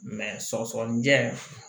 sɔgɔsɔgɔnijɛ